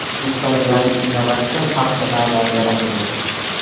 O‘zbekistonda yangi innovatsion paxta navlari yaratildi.